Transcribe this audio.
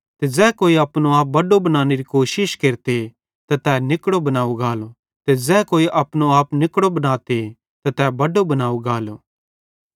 ते ज़ै कोई अपनो आप बड्डो बनानेरी कोशिश केरते त तै निकड़ो बनाव गालो ते ज़ै कोई अपनो आप निकड़ो बनाते त तै बड्डो बनाव गालो